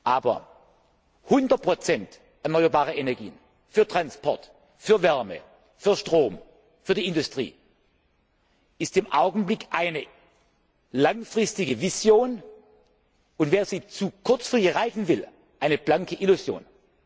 Aber 100 erneuerbare Energien für Transport, für Wärme, für Strom, für die Industrie ist im Augenblick eine langfristige Vision, und wenn man sie zu kurzfristig erreichen will, eine blanke Illusion.